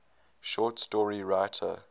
short story writer